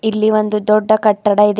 ಇಲ್ಲಿ ಒಂದು ದೊಡ್ಡ ಕಟ್ಟಡ ಇದೆ.